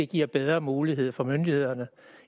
giver bedre mulighed for myndighederne